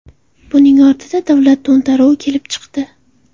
Buning ortidan davlat to‘ntaruvi kelib chiqdi.